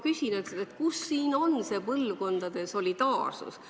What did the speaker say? Kus on siin see põlvkondade solidaarsus.